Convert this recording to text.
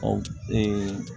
Ɔ